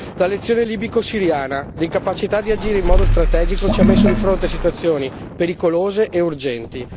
La lezione libico siriana l'incapacità di agire in modo strategico ci ha messo di fronte a situazioni pericolose e urgenti